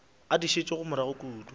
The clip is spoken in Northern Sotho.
a di šetšego morago kudu